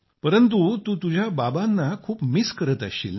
परंतु तू तुझ्या बाबांना खूप मिस करत असशील ना